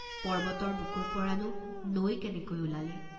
পৰ্ব্বতৰ বুকুৰ পৰানো নৈ কেনেকৈ ওলালে?